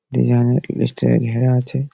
Design style লে ঘেরা আছে।